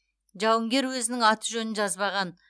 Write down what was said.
жауынгер өзінің аты жөнін жазбаған